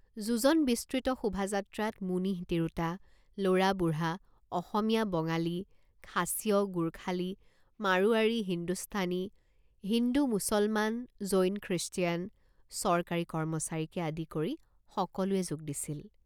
যোজন বিস্তৃত শোভাযাত্ৰাত মুনিহ তিৰোতা লৰাবুঢ়া অসমীয়া বঙালী খাচীয় গোৰ্খালী মাৰোৱাৰী হিন্দুস্থানী হিন্দু মুছলমান জৈন খৃষ্টিয়ান চৰকাৰী কৰ্মচাৰীকে আদি কৰি সকলোৱে যোগ দিছিল।